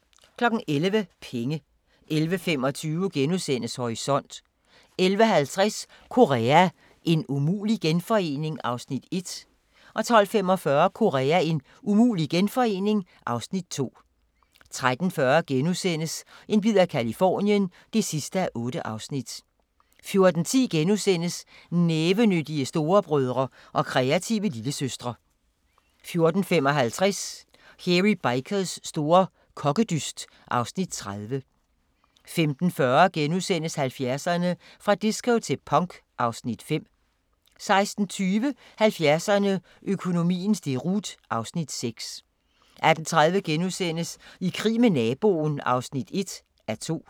11:00: Penge 11:25: Horisont * 11:50: Korea – en umulig genforening? (Afs. 1) 12:45: Korea – en umulig genforening? (Afs. 2) 13:40: En bid af Californien (8:8)* 14:10: Nævenyttige storebrødre og kreative lillesøstre * 14:55: Hairy Bikers store kokkedyst (Afs. 30) 15:40: 70'erne: Fra disco til punk (Afs. 5)* 16:20: 70'erne: Økonomiens deroute (Afs. 6) 18:30: I krig med naboen (1:2)*